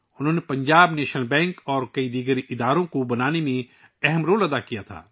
انھوں نے Punjab national bank اور کئی دیگر اداروں کے قیام میں اہم کردار ادا کیا